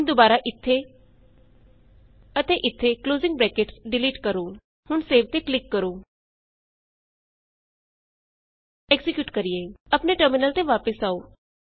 ਹੁਣ ਦੁਬਾਰਾ ਇਥੇ ਅਤੇ ਇਥੇ ਕਲੋਜ਼ਿੰਗ ਬਰੈਕਟਸ ਡਿਲੀਟ ਕਰੋ ਹੁਣ ਸੇਵ ਤੇ ਕਲਿਕ ਕਰੋ ਚਲੋ ਐਕਜ਼ੀਕਿਯੂਟ ਕਰੀਏ ਆਪਣੇ ਟਰਮਿਨਲ ਤੇ ਵਾਪਸ ਆਉ